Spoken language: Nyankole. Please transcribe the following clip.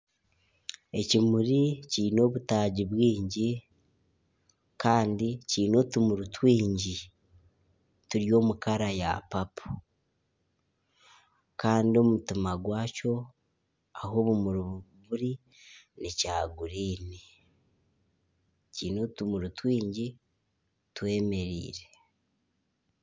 Ekimuri kiine obutaagi bwingi kandi kiine otumuri twingi turi omukara ya papo kandi omutima gwakyo ahu obumuri buri nekya guriini kiine otumuri twingi twemereire